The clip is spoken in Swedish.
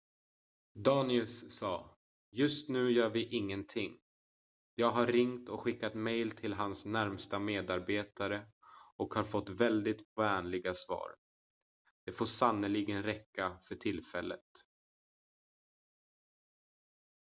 "danius sa "just nu gör vi ingenting. jag har ringt och skickat mejl till hans närmsta medarbetare och har fått väldigt vänliga svar. det får sannerligen räcka för tillfället.""